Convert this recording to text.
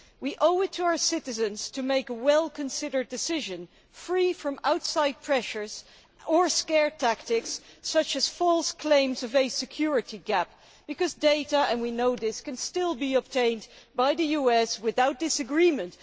We owe it to our citizens to make a well considered decision, free from outside pressures or scare tactics such as false claims of a security gap, because data, and we know this, can still be obtained by the US without disagreement.